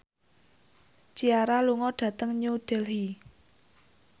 Ciara lunga dhateng New Delhi